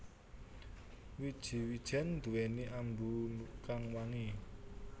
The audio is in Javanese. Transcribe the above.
Wiji wijèn nduwèni ambu kang wangi